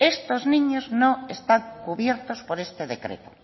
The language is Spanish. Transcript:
estos niños no están cubiertos por este decreto